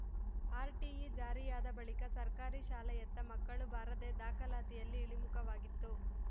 RTE ಜಾರಿಯಾದ ಬಳಿಕ ಸರ್ಕಾರಿ ಶಾಲೆಯತ್ತ ಮಕ್ಕಳು ಬಾರದೆ ದಾಖಲಾತಿಯಲ್ಲಿ ಇಳಿಮುಖವಾಗಿತ್ತು